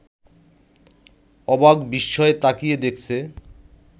অবাক বিস্ময়ে তাকিয়ে দেখছে